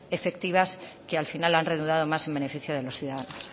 efectivas que al final han redundado más en beneficio de los ciudadanos